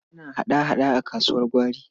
Ana hada-hada a kasuwar gwari.